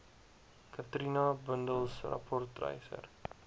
katrina bundels rapportryers